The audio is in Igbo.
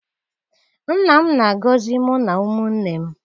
Nna m na-agọzi mụ na ụmụnne m.